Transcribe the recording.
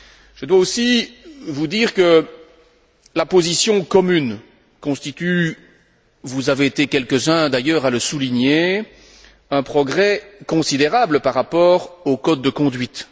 Je dois aussi vous dire que la position commune constitue vous avez été quelques uns d'ailleurs à le souligner un progrès considérable par rapport au code de conduite.